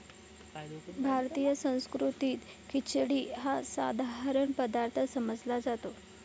भारतीय संस्कृतीत खिचडी हा साधारण पदार्थ समजला जातो.